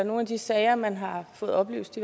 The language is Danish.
i nogle af de sager man har fået oplyst